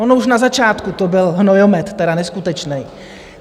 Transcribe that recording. Ono už na začátku to byl hnojomet tedy neskutečnej.